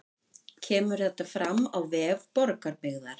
Kemur þetta fram á vef Borgarbyggðar